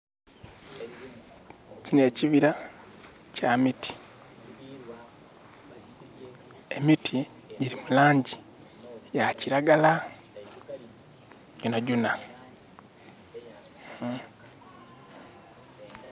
Kino ekibira kya miti. Emiti giri mu laangi ya kiragala, gyona gyona.